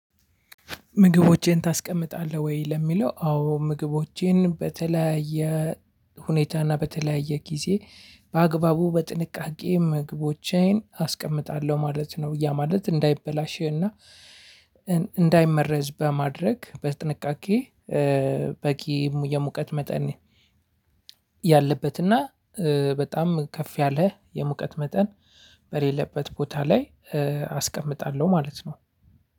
ምግቦቼን ታስቀምጣለህ ወይ? ለሚለው አዎ ምግቦቼን በተለያየ ሁኔታና በተለያየ ጊዜ በአግባቡ በጥንቃቄ ምግቦቼን አስቀምጣለሁ ማለት ነው። ያ ማለት እንዳይበላሽ እና እንዳይመረዝ በማድረግ በጥንቃቄ። በቂ የሙቀት መጠን ያለበት እና በጣም ከፍ ያለ የሙቀት መጠን በሌለበት ቦታ ላይ አስቀምጣለሁ ማለት ነው።